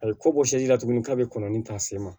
A bɛ ko bɔ la tugunni k'a bɛ kɔnɔni ta se ma